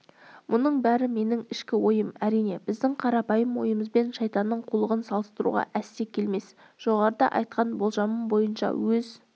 мұның бәрі менің ішкі ойым әрине біздің қарапайым ойымызбен шайтанның қулығын салыстыруға әсте келмес жоғарыда айтқан болжамым бойынша өз